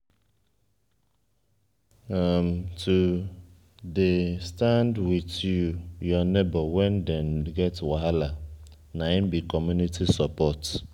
to dey stand wit you nebor wen dem get wahala na im be community support.